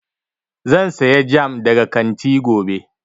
Zan saya jam daga kanti gobe